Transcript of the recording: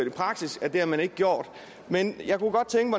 i praksis at det har man ikke gjort men